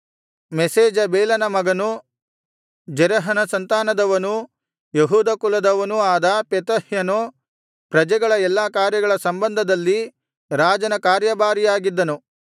ಮೆಷೇಜಬೇಲನ ಮಗನೂ ಜೆರಹನ ಸಂತಾನದವನೂ ಯೆಹೂದ ಕುಲದವನೂ ಆದ ಪೆತಹ್ಯನು ಪ್ರಜೆಗಳ ಎಲ್ಲಾ ಕಾರ್ಯಗಳ ಸಂಬಂಧದಲ್ಲಿ ರಾಜನ ಕಾರ್ಯಭಾರಿಯಾಗಿದ್ದನು